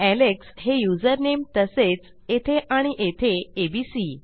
Alex हे username तसेच येथे आणि येथे एबीसी